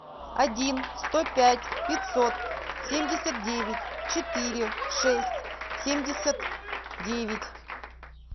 один сто пять пятьсот семьдесят девять четыре шесть семьдесят девять